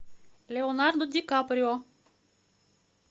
леонардо ди каприо